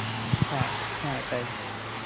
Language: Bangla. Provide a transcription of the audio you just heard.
হ্যাঁ হ্যাঁ তাই